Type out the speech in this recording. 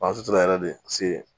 yɛrɛ de se